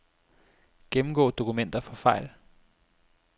Gennemgå dokumenter for fejl.